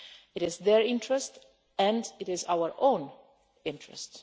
It is in their interest and in our own interest.